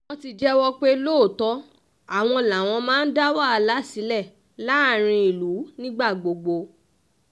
wọ́n ti jẹ́wọ́ pé lóòótọ́ àwọn làwọn máa ń dá wàhálà sílẹ̀ láàrin ìlú nígbà gbogbo